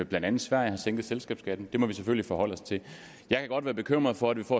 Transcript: blandt andet sverige har sænket selskabsskatten det må vi selvfølgelig forholde os til jeg kan godt være bekymret for at vi får